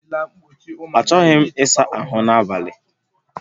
Achọghị m ịsa ahụ n'abalị a